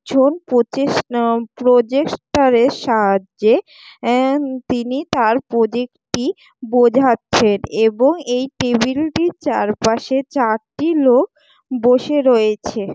June পঁচিশ না projector এর সাহায্যে অ্যা তিনি তার প্রজেক্ট টি বোঝাচ্ছেন এবং এই টেবিল টির চারপাশে চারটি লোক বসে রয়েছে।